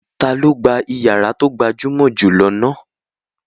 Ta ni ó gba ìyàrá tó gbajúmọ̀ jù lọ náà?